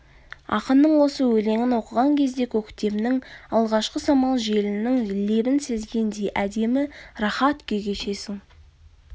ақынның осы өленің оқыған кезде көктемнің алғашқы самал желінің лебін сезгендей әдемі рахат күй кешесің